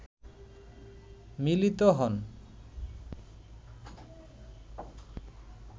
মিলিত হন